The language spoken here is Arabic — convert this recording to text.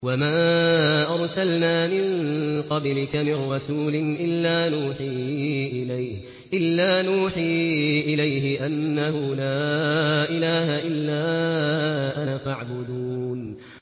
وَمَا أَرْسَلْنَا مِن قَبْلِكَ مِن رَّسُولٍ إِلَّا نُوحِي إِلَيْهِ أَنَّهُ لَا إِلَٰهَ إِلَّا أَنَا فَاعْبُدُونِ